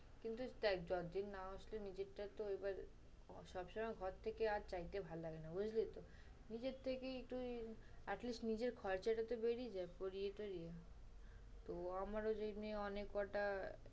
কিন্তু দেখ যতদিন না আসলেও নিজেরটা তো এবার সবসময় ঘর থেকে আর চাইতে ভাল লাগে না, বুঝলি তো? নিজের থেকেই তুই at least নিজের খরচাটা তো বেরিয়ে যায়, পরিয়ে তুই। তো আমারও যে মেয়ে কয়টা